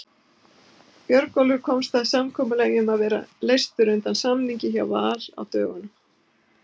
Björgólfur komst að samkomulagi um að vera leystur undan samningi hjá Val á dögunum.